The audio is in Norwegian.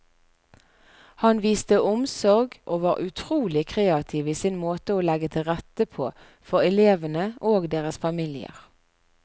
Han viste omsorg og var utrolig kreativ i sin måte å legge til rette på for elevene og deres familier.